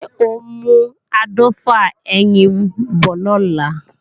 Ṣé ò ń mú áàdọ́fà ẹyin bọ̀ lọ́la?